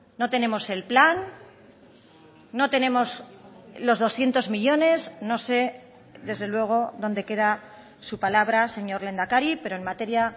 no tenemos el plan no tenemos los doscientos millónes no sé desde luego dónde queda su palabra señor lehendakari pero en materia